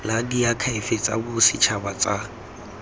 la diakhaefe tsa bosetšhaba tsa